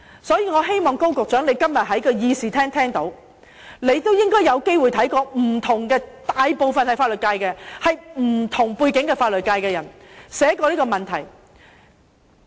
所以，我希望高局長今天在議事廳聽一聽，你應該曾有機會看過不同的人士——大部分來自法律界、具不同背景的人士——就這問題寫過的文章。